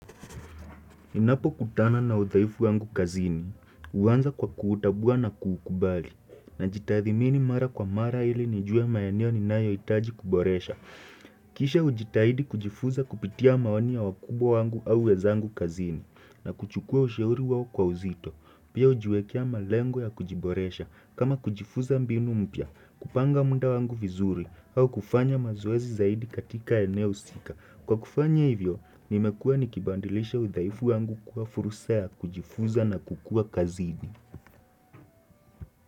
Ninapokutana na udhaifu wangu kazini, uwanza kwa kuutabua na kukubali, na jitadhimini mara kwa mara ili nijue maeneo ninayoitaji kuboresha. Kisha ujitahidi kujifuza kupitia maoni wakubwo wangu au wezangu kazini, na kuchukua usheuri wao kwa uzito. Pia ujiwekia malengo ya kujiboresha, kama kujifuza ambinu mpya, kupanga munda wangu vizuri, au kufanya mazoezi zaidi katika eneo sika. Kwa kufanya hivyo, nimekua nikibandilisha udhaifu wangu kuwa fursa ya kujifuza na kukua kazidi.